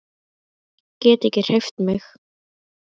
Get ekki hreyft mig.